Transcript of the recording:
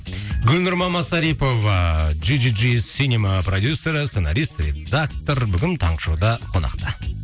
гүлнұр мамасарипова джи джи джи синема продюссері сценарист редактор бүгін таңғы шоуда қонақта